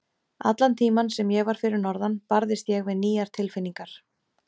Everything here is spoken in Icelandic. Allan tímann sem ég var fyrir norðan, barðist ég við nýjar tilfinningar.